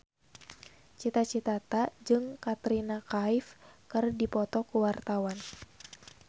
Cita Citata jeung Katrina Kaif keur dipoto ku wartawan